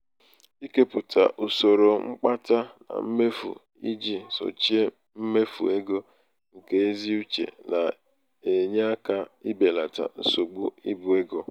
ikepụta usoro mkpata na mmefu iji sochie mmefu ego nke ezi uche na-enye aka ibelata nsogbu ibu ego.